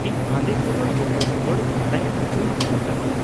ᱤᱧ ᱟᱸᱫᱮ ᱠᱚ ᱫᱚ ᱡᱚᱛᱚ ᱦᱚᱲ ᱵᱟᱰᱟᱭ ᱚᱪᱚᱧ ᱢᱮᱛᱟ ᱠᱚᱣᱟ ᱾